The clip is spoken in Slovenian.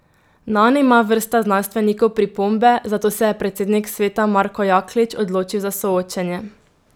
Nanj ima vrsta znanstvenikov pripombe, zato se je predsednik sveta Marko Jaklič odločil za soočenje.